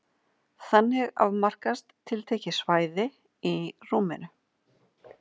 Þannig afmarkast tiltekið svæði í rúminu.